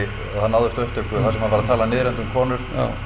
það náðist á upptöku þar sem hann var að tala niðrandi um konur